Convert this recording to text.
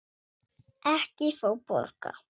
Ekki fá borga.